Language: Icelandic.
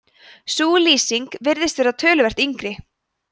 sú lýsing virðist vera töluvert yngri